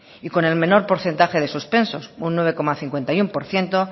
y con el menor porcentaje de suspensos un nueve coma cincuenta y uno por ciento